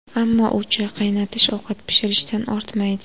Ammo u choy qaynatish, ovqat pishirishdan ortmaydi.